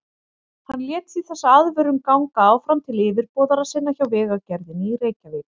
Hann lét því þessa aðvörun ganga áfram til yfirboðara sinna hjá Vegagerðinni í Reykjavík.